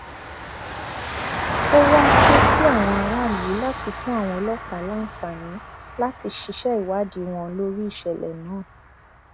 ó wàá ké sí àwọn aráàlú láti fún àwọn ọlọpàá láǹfààní láti ṣiṣẹ ìwádìí wọn lórí ìṣẹlẹ náà